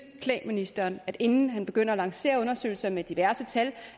klæde ministeren at inden han begyndte at lancere undersøgelser med diverse tal